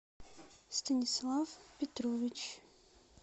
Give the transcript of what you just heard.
станислав петрович